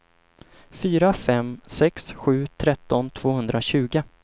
fyra fem sex sju tretton tvåhundratjugo